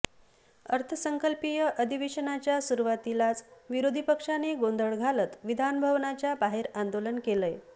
अर्थसंकल्पीय अधिवेशनाच्या सुरुवातीलाच विरोधी पक्षाने गोंधळ घालत विधान भवनाच्या बाहेर आंदोलन केलय